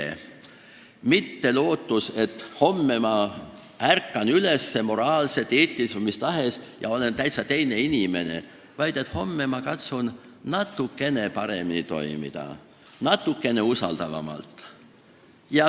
" See ei ole lootus, et homme ma ärkan üles ja olen moraalselt, eetiliselt või mis tahes mõttes täitsa teine inimene, vaid homme ma katsun natukene paremini, natukene usaldavamalt toimida.